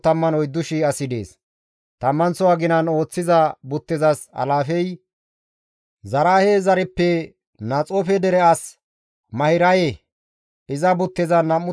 Tammanththo aginan ooththiza buttezas alaafey Zaraahe zareppe Naxoofe dere as Mahiraye; iza buttezan 24,000 asi dees.